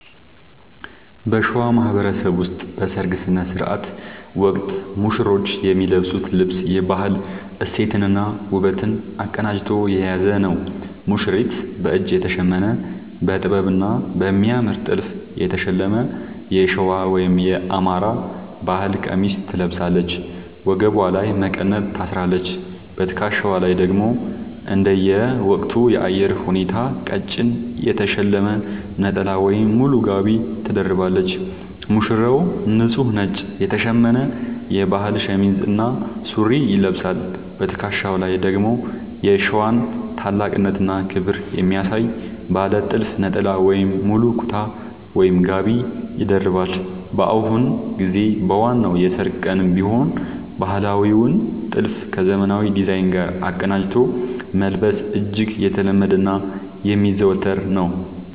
በሸዋ ማህበረሰብ ውስጥ በሠርግ ሥነ ሥርዓት ወቅት ሙሽሮች የሚለብሱት ልብስ የባህል እሴትንና ውበትን አቀናጅቶ የያዘ ነው፦ ሙሽሪት፦ በእጅ የተሸመነ: በጥበብና በሚያምር ጥልፍ የተሸለመ የሸዋ (የአማራ) ባህል ቀሚስ ትለብሳለች። ወገቧ ላይ መቀነት ታስራለች: በትከሻዋ ላይ ደግሞ እንደየወቅቱ የአየር ሁኔታ ቀጭን የተሸለመ ነጠላ ወይም ሙሉ ጋቢ ትደርባለች። ሙሽራው፦ ንጹህ ነጭ የተሸመነ የባህል ሸሚዝ እና ሱሪ ይለብሳል። በትከሻው ላይ ደግሞ የሸዋን ታላቅነትና ክብር የሚያሳይ ባለ ጥልፍ ነጠላ ወይም ሙሉ ኩታ (ጋቢ) ይደርባል። በአሁኑ ጊዜ በዋናው የሠርግ ቀንም ቢሆን ባህላዊውን ጥልፍ ከዘመናዊ ዲዛይን ጋር አቀናጅቶ መልበስ እጅግ የተለመደና የሚዘወተር ነው።